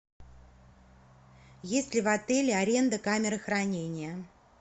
есть ли в отеле аренда камеры хранения